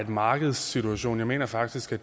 markedssituation jeg mener faktisk